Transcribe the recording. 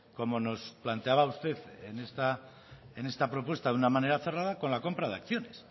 como nos planteaba usted en esta propuesta de una manera cerrada con la compra de acciones